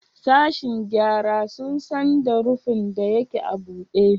Sashen gyara sun san da rufin da yake a bude?